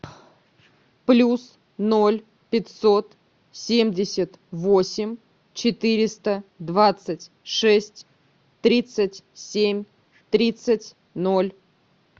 плюс ноль пятьсот семьдесят восемь четыреста двадцать шесть тридцать семь тридцать ноль